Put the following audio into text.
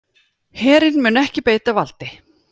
Herinn mun ekki beita valdi